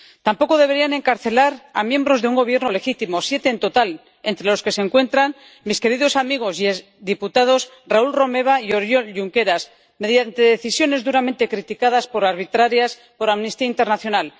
Tampoco deberían encarcelar a miembros de un Gobierno legítimo —siete en total, entre los que se encuentran mis queridos amigos y exdiputados Raül Romeva y Oriol Junqueras— mediante decisiones duramente criticadas, por arbitrarias, por Amnistía Internacional.